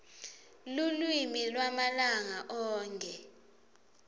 lulwimi lwamalanga onkhe